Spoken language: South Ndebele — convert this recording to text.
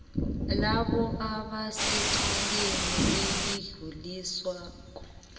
labo abasecaleni elidluliswako